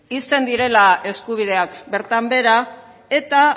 uzten direla eskubidek bertan behera eta